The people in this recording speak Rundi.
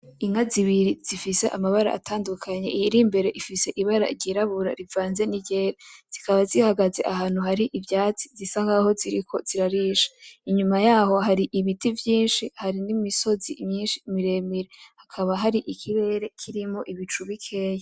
Inka zibiri zifise amabara atandukanye, iyir'imbere ifise ibara ryirabura rivanze n'iryera, zikaba zihagaze ahantu hari ivyatsi zisa nkaho ziriko zirarisha, inyuma yaho hari ibiti vyinshi; hari n'imisozi myinshi miremire, hakaba hari ikirere kirimwo ibicu bikeyi.